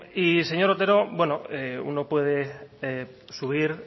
y señor otero y también señor becerra uno puede subir